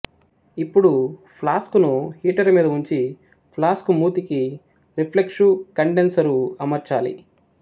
ఇప్పుడు ఫ్లాస్కును హీటరు మీద వుంచి ఫ్లాస్కు మూతికి రెఫ్లెక్షు కండెన్సరు అమర్చాలి